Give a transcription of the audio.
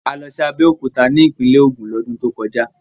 A lọ sí Abẹ́òkúta ní ìpínlẹ̀ Ògùn lọ́dún tó kọjá.